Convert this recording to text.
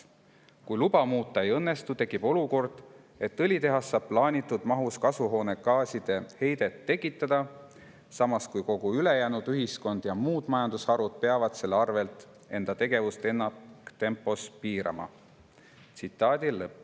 Kui luba muuta ei õnnestu, tekib olukord, et õlitehas saab plaanitud mahus kasvuhoonegaaside heidet tekitada, samas kui kogu ülejäänud ühiskond ja muud majandusharud peavad selle arvelt enda tegevust ennaktempos piirama.